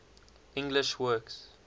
english words